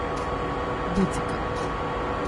Bucika.